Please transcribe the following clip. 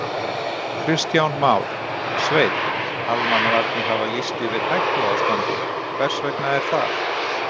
Kristján Már: Sveinn, almannavarnir hafa lýst yfir hættuástandi, hvers vegna er það?